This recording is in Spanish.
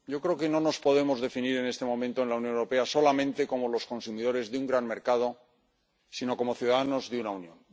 Yo creo que no nos podemos definir en este momento en la Unión Europea solamente como los consumidores de un gran mercado, sino como ciudadanos de una Unión.